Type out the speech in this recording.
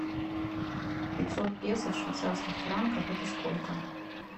пятьсот песо в швейцарских франках это сколько